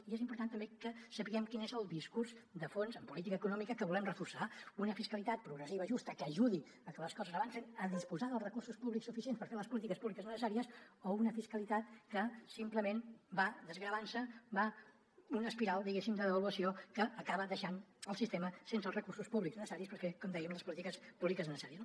i és important també que sapiguem quin és el discurs de fons en política econòmica que volem reforçar una fiscalitat progressiva i justa que ajudi a que les coses avancin a disposar dels recursos públics suficients per fer les polítiques públiques necessàries o una fiscalitat que simplement va desgravant se una espiral diguéssim de devaluació que acaba deixant el sistema sense els recursos públics necessaris per fer com dèiem les polítiques públiques necessàries